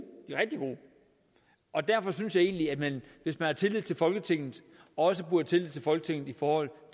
og derfor synes jeg egentlig at man hvis man har tillid til folketinget også burde have tillid til folketinget i forhold